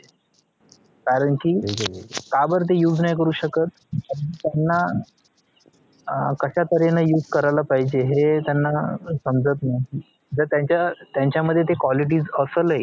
कारण कि काबर ते use नाही करू शकत त्यांना अं कश्यातऱ्हेने use करायला पाहिजे हे त्यांना समजत नाही जर त्यांच्या त्यांच्या मध्ये ती quality असेलही